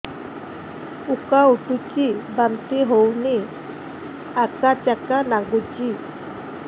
ଉକା ଉଠୁଚି ବାନ୍ତି ହଉନି ଆକାଚାକା ନାଗୁଚି